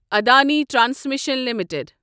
Adani transmission limited